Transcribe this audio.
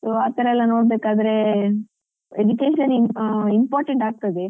So ಅತರ ಎಲ್ಲ ನೋಡ್ಬೇಕಾದ್ರೆ ಅಂದ್ರೆ education important ಆಗ್ತದೆ.